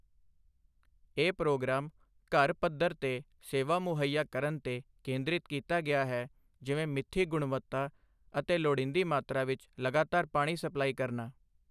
ਇਹ ਪ੍ਰੋਗਰਾਮ ਘਰ ਪਧੱਰ ਤੇ ਸੇਵਾ ਮੁਹੱਈਆ ਕਰਨ ਤੇ ਕੇਂਦਰਿਤ ਕੀਤਾ ਗਿਆ ਹੈ, ਜਿਵੇਂ ਮਿੱਥੀ ਗੁਣਵੱਤਾ ਅਤੇ ਲੋੜੀਂਦੀ ਮਾਤਰਾ ਵਿੱਚ ਲਗਾਤਾਰ ਪਾਣੀ ਸਪਲਾਈ ਕਰਨਾ।